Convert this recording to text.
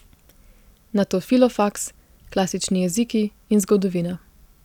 Nato filofaks, klasični jeziki in zgodovina.